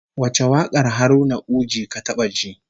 Wace wakar Haruna Uji ka taba ji?